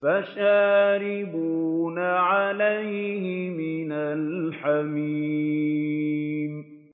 فَشَارِبُونَ عَلَيْهِ مِنَ الْحَمِيمِ